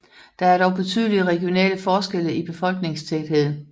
Der er dog betydelige regionale forskelle i befolkningstætheden